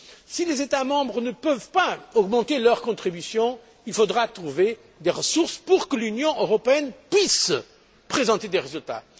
Si les États membres ne peuvent pas augmenter leur contribution, il faudra trouver des ressources pour que l'Union européenne puisse présenter des résultats.